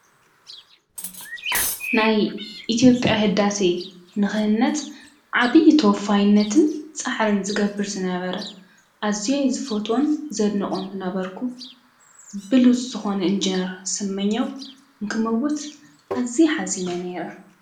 ናይ ኢቲዮጵያ ሕዳሰ ንኽህነጥ ዓብዪ ተወፋይነትን ጻሕርን ዝገብር ዝነበረ ኣዚይ ዝፈትወን ዘድነቖን ዝነበርኩ ብሉጽ ዝኾነ እንጀነር ሰመኛው እንክመቦት ኣዚይ ኃዚነ ነይረ፡፡